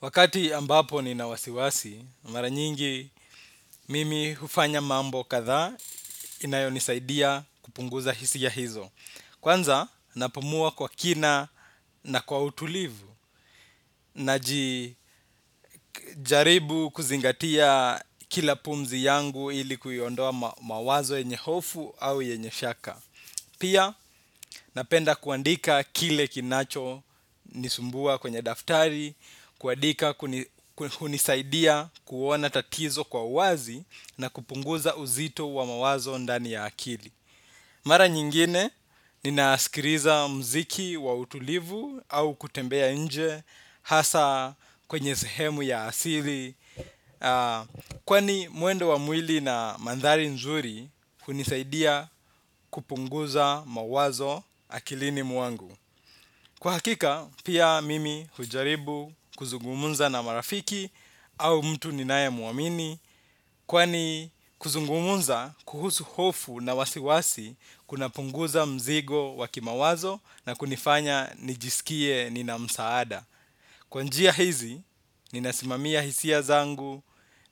Wakati ambapo nina wasiwasi, mara nyingi mimi hufanya mambo kadhaa inayonisaidia kupunguza hisia hizo. Kwanza napumua kwa kina na kwa utulivu, naji jaribu kuzingatia kila pumzi yangu ili kuiondoa mawazo yenye hofu au yenye shaka. Pia napenda kuandika kile kinacho nisumbua kwenye daftari, kuandika hunisaidia kuona tatizo kwa wazi na kupunguza uzito wa mawazo ndani ya akili. Mara nyingine ninasikiliza mziki wa utulivu au kutembea nje hasa kwenye sehemu ya asili kwani mwendo wa mwili na mandhari nzuri hunisaidia kupunguza mawazo akilini mwangu. Kwa hakika pia mimi hujaribu kuzungumunza na marafiki au mtu ninaye muamini kwani kuzungumunza kuhusu hofu na wasiwasi kuna punguza mzigo wa kimawazo na kunifanya nijisikie nina msaada. Kwa njia hizi, nina simamia hisia zangu